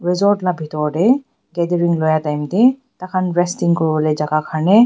resort la bhitor tae gathering loi time tae takhan resting kuriwolae jaka karne.